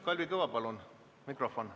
Kalvi Kõva, palun!